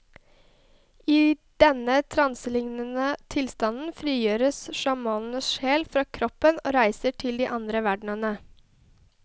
I denne transelignende tilstanden frigjøres sjamanens sjel fra kroppen og reiser til de andre verdener.